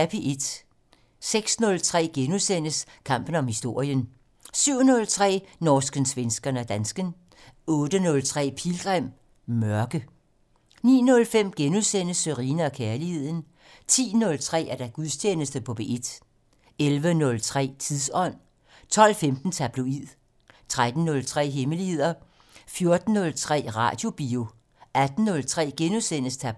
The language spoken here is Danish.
06:03: Kampen om historien * 07:03: Norsken, svensken og dansken 08:03: Pilgrim - Mørke 09:05: Sørine & Kærligheden * 10:03: Gudstjeneste på P1 11:03: Tidsånd 12:15: Tabloid 13:03: Hemmeligheder 14:03: Radiobio 18:03: Tabloid *